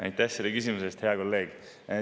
Aitäh selle küsimuse eest, hea kolleeg!